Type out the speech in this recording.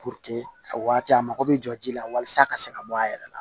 a waati a mako bɛ jɔ ji la walasa a ka se ka bɔ a yɛrɛ la